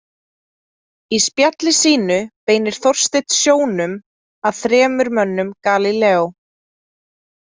Í spjalli sínu beinir Þorsteinn sjónum að þremur mönnum Galíleó.